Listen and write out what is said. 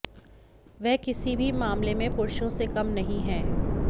वह किसी भी मामले में पुरुषों से कम नहीं हैं